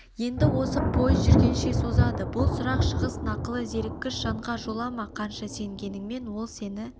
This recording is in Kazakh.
енді осы пойыз жүргенше созады бұл сұрақ шығыс нақылы зеріккіш жанға жолама қанша сенгеніңмен ол сені